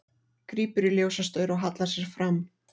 Grípur í ljósastaur og hallar sér fram.